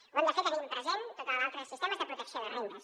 ho hem de fer tenint presents tots els altres sistemes de protecció de rendes